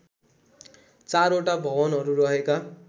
चारवटा भवनहरू रहेका